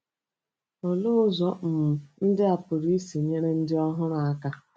Olee ụzọ um ndị a pụrụ isi nyere ndị ọhụrụ aka?